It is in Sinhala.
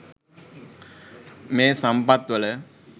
මේ සම්පත්වල